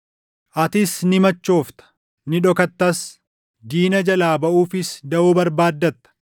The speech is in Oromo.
Atis ni machoofta; ni dhokattas; diina jalaa baʼuufis daʼoo barbaaddatta.